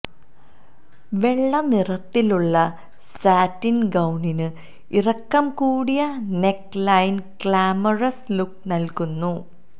വെള്ള നിറത്തിലുള്ള സാറ്റിന് ഗൌണിന് ഇറക്കം കൂടിയ നെക്ക് ലൈന് ഗ്ലാമറസ് ലുക്ക് നല്കുന്നു